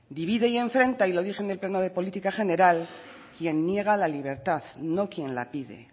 divide y enfrenta y lo dije en el pleno de política general quien niega la libertad no quien la pide